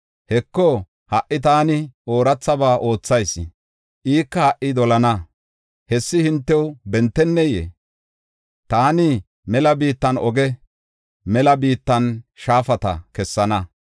Heko, ha77i taani oorathaba oothayis; ika ha77i dolana. Hessi hintew bentennee? Taani mela biittan oge, mela biittan shaafata kessana.